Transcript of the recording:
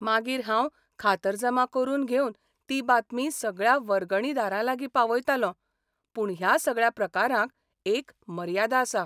मागीर हांव खातरजमा करून घेवन ती बातमी सगळ्या वर्गणीदारांलागीं पावयतालों, पूण ह्या सगळ्या प्रकारांक एक मर्यादा आसा.